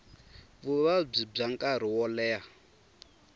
vuvabyi bya nkarhi wo leha